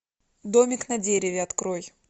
домик на дереве открой